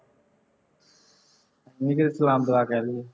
ਨਹੀਂ ਕਿਤੇ ਸਲਾਮ ਦੁਆ ਕਹਿ ਦੇਵੇ